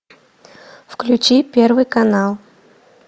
включи первый канал